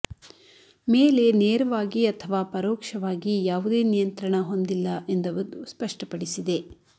ಮೇಲೆ ನೇರವಾಗಿ ಅಥವಾ ಪರೋಕ್ಷವಾಗಿ ಯಾವುದೇ ನಿಯಂತ್ರಣ ಹೊಂದಿಲ್ಲ ಎಂದು ಅದು ಸ್ಪಷ್ಟಪಡಿಸಿದೆ